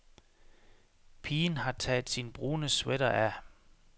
Pigen har taget sin brune sweater af.